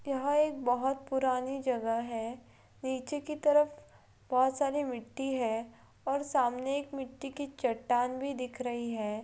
यहाँ एक बहुत पुरानी जगह है| नीचे के तरफ बहोत सारी मिट्टी है और सामने एक मिट्टी की चट्टान भी दिख रही है।